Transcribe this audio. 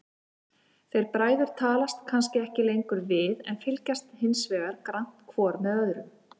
Þeir bræður talast kannski ekki lengur við, en fylgjast hinsvegar grannt hvor með öðrum.